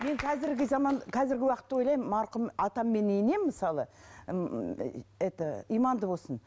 мен қазіргі заман қазіргі уақытта ойлаймын марқұм атам мен енем мысалы ммм это иманды болсын